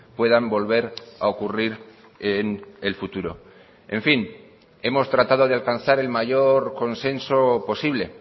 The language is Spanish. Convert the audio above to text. puedan volver a ocurrir en el futuro en fin hemos tratado de alcanzar el mayor consenso posible